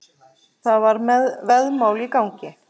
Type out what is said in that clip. Það var veðmál í gangi.